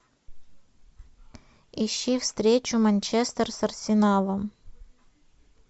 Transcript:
ищи встречу манчестер с арсеналом